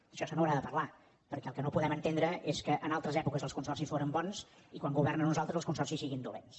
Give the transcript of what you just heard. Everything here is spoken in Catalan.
d’això se n’haurà de parlar perquè el que no podem entendre és que en altres èpoques els consorcis foren bons i quan governen uns altres els consorcis siguin dolents